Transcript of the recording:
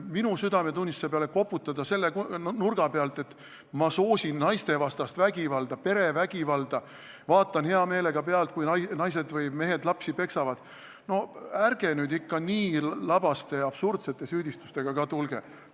Minu südametunnistuse peale koputada selle mõttega, et ma soosin naistevastast vägivalda, perevägivalda, vaatan hea meelega pealt, kui naised või mehed lapsi peksavad – no ärge nüüd ikka nii labaste ja absurdsete süüdistustega ka tulge!